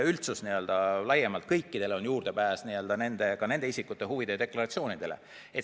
Üldsusel laiemalt, kõikidel on juurdepääs ka nende isikute huvide deklaratsioonidele.